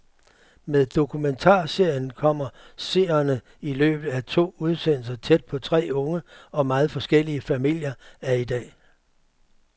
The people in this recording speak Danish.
Med dokumentarserien kommer seerne i løbet af to udsendelser tæt på tre unge og meget forskellige familier af i dag.